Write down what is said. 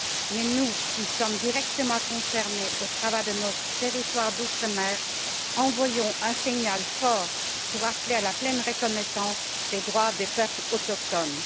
Mais nous, qui sommes directement concernés, au travers de nos territoires d'outre mer, envoyons un signal fort pour appeler à la pleine reconnaissance des droits des peuples autochtones.